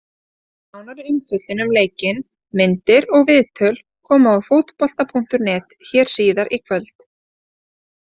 Nánari umfjöllun um leikinn, myndir og viðtöl koma á Fótbolta.net hér síðar í kvöld.